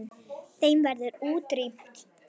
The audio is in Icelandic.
Þeim verður útrýmt.